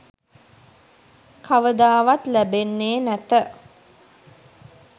කවදාවත් ලැබෙන්නේ නැත